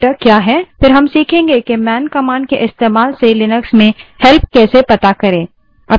फिर हम सीखेंगे कि man man command के इस्तेमाल से लिनक्स में help कैसे पता करें